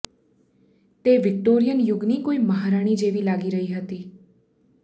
તે વિક્ટોરીયન યુગની કોઈ મહારાણી જેવી લાગી રહી હતી